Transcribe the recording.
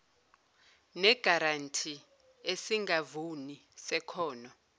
negaranti esingavuni sekhono